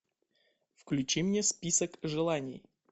включи мне список желаний